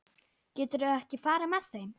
Geturðu ekki farið með þeim?